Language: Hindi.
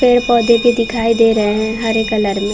पेड़ -पौधे भी दिखाई दे रहे है हरे कलर में--